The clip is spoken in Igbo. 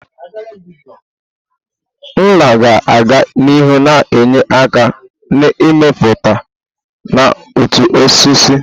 Nla ga-aga n'ihu na-enye aka n'ịmụpụta na uto osisi.